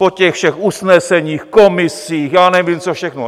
Po těch všech usneseních, komisích, já nevím co všechno.